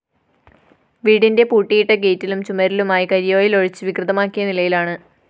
വീടിന്റെ പൂട്ടിയിട്ട ഗെയ്റ്റിലും ചുമരിലുമായി കരിഓയില്‍ ഒഴിച്ചു വികൃതമാക്കിയ നിലയിലാണ്